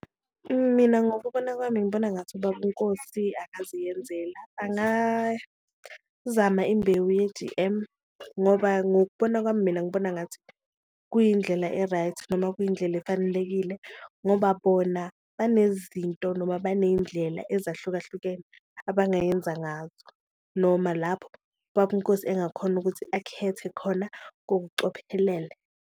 Mina ngokubona kwami ngibona ngathi ubaba uNkosi angaziyenzela zama imbewu ye-G_M ngoba ngokubona kwami, mina ngibona ngathi kuyindlela e-right noma kuyindlela efanelekile ngoba bona benezinto noma baneyindlela ezahlukahlukene abangayenza ngazo. Noma lapho ubaba uNkosi engakhona ukuthi akhethe khona ngokucophelele.